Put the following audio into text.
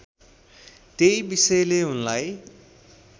त्यही विषयले उनलाई